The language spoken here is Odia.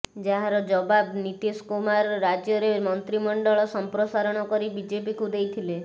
ଯାହାର ଜବାବ ନୀତୀଶ କୁମାର ରାଜ୍ୟରେ ମନ୍ତ୍ରିମଣ୍ଡଳ ସମ୍ପ୍ରସାରଣ କରି ବିଜେପିକୁ ଦେଇଥିଲେ